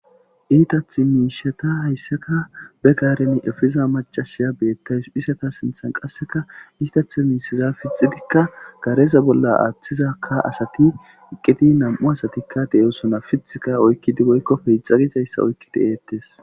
Iitath miishata hayssaka be gaareni efiza macasiya beettays isata sinthan qasseka iitath miishiza fixidikka gareza bolla aaththizakka asati iqqiti nam7u asatikka deeosona fithika oykkidi boykkopeixagizayssa oykkidi eettes.